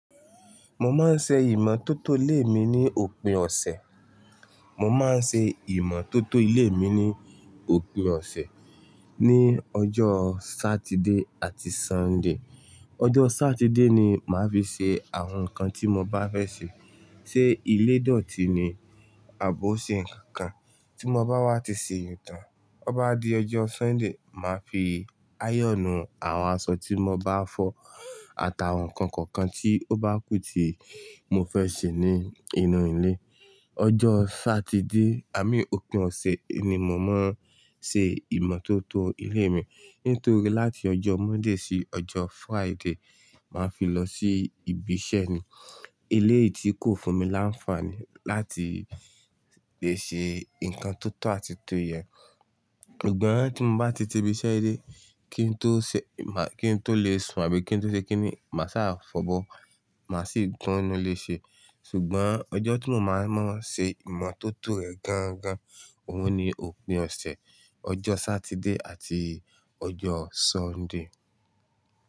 Mo máa ń ṣe ìmọ̀tótó ilé mi ní òpin ọ̀sẹ̀. Mo máa ń ṣe ìmọ̀tótó ilé mi ní òpin ọ̀sẹ̀ ní ọjọ́ Saturday àti Sunday. Ọjọ́ Saturday ni màá fi ṣe àwọn nǹkan tí mo bá fẹ́ ṣe. Ṣé ilé dọ̀tí ni àbò ṣe nǹkan kan tí mo bá wá ti ṣe èyun tán, ó bá di ọjọ́ Sunday, màá fi áyọ̀nù àwọn aṣọ tí mo bá fọ̀ àtàwọn ǹkan kọ̀ọ̀kan tí ó bá kù tí mo fẹ́ ṣe ní inú ilé. Ọjọ́ Saturday àmín òpin ọ̀sẹ̀ ni mò màà ń ṣe ìmọ̀tótó ilé mi. Nítorí láti ọjọ́ Monday sí ọjọ́ Friday, màá fi lọ sí ibi iṣẹ́ ni. Ilé yìí tí kò fún mi láńfààní láti lè ṣe ǹkan tó tó àti to yẹn. Gbòn tì mò bá ti ti ibi iṣẹ́ dé kí n tó ṣẹ, màá kí n tó lè sùn àbí kí n tó ṣe kíni, mà sá fọ̀bọ́, màá sì tùn inú léṣe. Ṣùgbọ́n ọjọ́ tí mo máa ń ṣe ìmọ̀tótó rẹ̀ gangan, òun ni òpin ọ̀sẹ̀, ọjọ́ Saturday àti ọjọ́ Sunday.